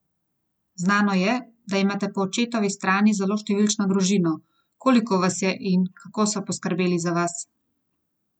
Znano je, da imate po očetovi strani zelo številčno družino, koliko vas je in kako so poskrbeli za vas?